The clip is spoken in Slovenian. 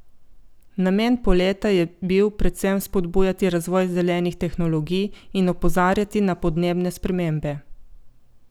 Namen poleta je bil predvsem spodbujati razvoj zelenih tehnologij in opozarjati na podnebne spremembe.